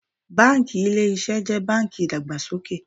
Báńkì Ilé Iṣẹ́ jẹ́ báńkì ìdàgbàsókè.